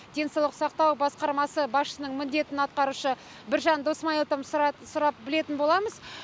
денсаулық сақтау басқармасы басшысының міндетін атқарушы біржан досмайыловтан сұрап білетін боламыз